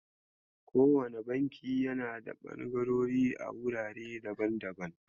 Kowane bankin yana da ɓangarori a wurare daban daban.